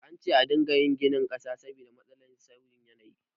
An ce a dinga ginin ƙasa saboda matsalar sauyin yanayi